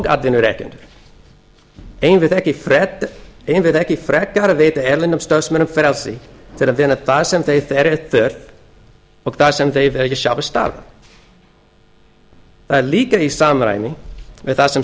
atvinnurekendur eigum við ekki frekar að veita erlendum starfsmönnum frelsi til að vinna þar sem þeirra er þörf og þar sem þeir vilja sjálfir starfa það er líka í samræmi við það sem